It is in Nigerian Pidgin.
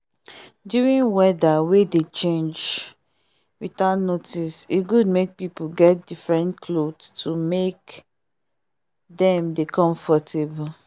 during weather wey dey change without notice e good make people get different cloth to make them dey comfortable